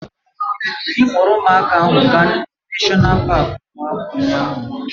Anyị kpọrọ ụmụaka ahụ gaa neshọna paaki ụmụaka ụnyaahụ